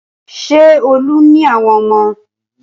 Ṣé Olú ní àwọn ọmọ?